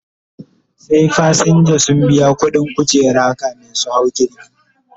Sai fasinja sun biya ƙuɗin kujera kamin su hau jirgi